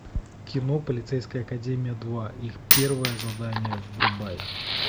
кино полицейская академия два их первое задание врубай